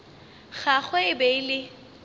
gagwe e be e le